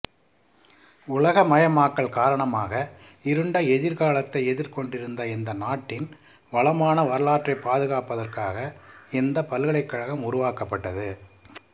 உலகமயமாக்கல் காரணமாக இருண்ட எதிர்காலத்தை எதிர்கொண்டிருந்த இந்த நாட்டின் வளமான வரலாற்றைப் பாதுகாப்பதற்காக இந்த பல்கலைக்கழகம் உருவாக்கப்பட்டது